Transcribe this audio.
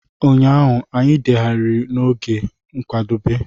Ụnyaahụ, anyị degharịrị n'oge nkwadebe.